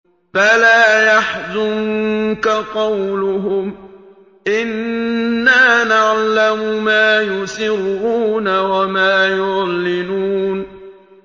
فَلَا يَحْزُنكَ قَوْلُهُمْ ۘ إِنَّا نَعْلَمُ مَا يُسِرُّونَ وَمَا يُعْلِنُونَ